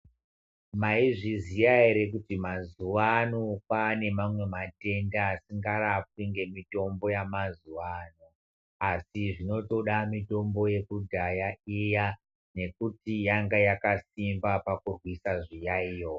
Maizviziya ere kuti mazuwaano , kwaane mamwe matenda, asingarapwi ngemitombo yamazuwa ano, asi zvinotoda mitombo yekudhaya iya nekuti yanga yakasimba pakurwisa zviyaiyo.